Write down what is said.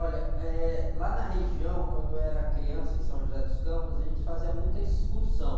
Olha, eh, lá na região, quando eu era criança, em São José dos Campos, a gente fazia muita excursão.